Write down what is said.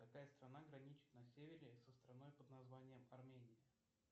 какая страна граничит на севере со страной под названием армения